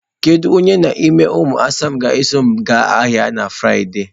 Kedu onye n'ime ụmụ asa m ga-eso m aga ahịa na Frịde?